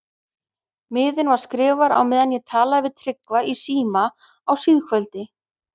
Miðinn var skrifaður á meðan ég talaði við Tryggva í síma á síðkvöldi.